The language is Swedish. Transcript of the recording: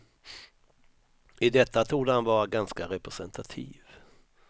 I detta torde han vara ganska representativ.